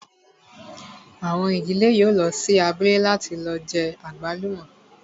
Àwọn ìdílé yóò lọ sí abúlé láti lọ jẹ àgbálùmọ́